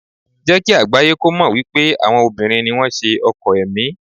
Jẹ́ kí àgbáyé kó mọ̀ wípé àwọn obìnrin ni wón ṣe ọkọ̀ ẹ̀mí.